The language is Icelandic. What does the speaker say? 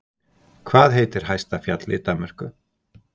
Hvað heitir hæsta fjallið í Danmörku?